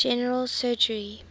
general surgery